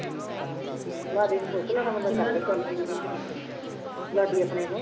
ਹਾਂ ਲਾਡੀ ਨੂੰ ਪੁੱਛ ਲੈਣਾ ਮਤਲਬ ਕਰ ਲਏ ਗੱਲ ਲਾਡੀ ਆਪਣੇ ਨੂੰ